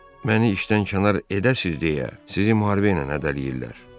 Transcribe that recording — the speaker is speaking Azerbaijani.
Məni işdən kənar edəsiz deyə sizi müharibə ilə hədələyirlər.